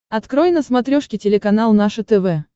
открой на смотрешке телеканал наше тв